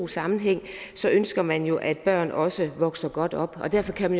sammenhæng ønsker man jo at børn også vokser godt op og derfor kan